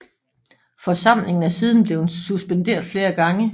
Forsamlingen er siden blevet suspenderet flere gange